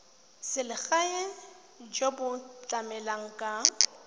selegae jo bo tlamelang ka